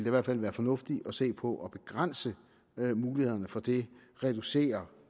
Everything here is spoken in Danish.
i hvert fald være fornuftigt at se på at begrænse mulighederne for det reducere